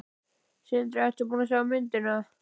Sindri: Ertu búin að sjá myndina?